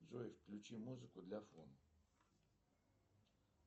джой включи музыку для фона